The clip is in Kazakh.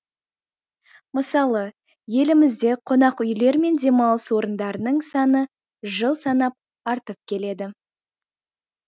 мысалы елімізде қонақ үйлер мен демалыс орындарының саны жыл санап артып келеді